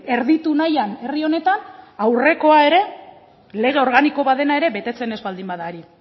erditu nahian herri honetan aurrekoa ere lege organiko bat dena ere betetzen ez baldin bada ari